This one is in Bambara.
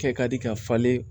Kɛ ka di ka falen